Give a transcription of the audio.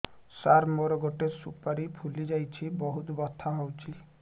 ସାର ମୋର ଗୋଟେ ସୁପାରୀ ଫୁଲିଯାଇଛି ବହୁତ ବଥା ହଉଛି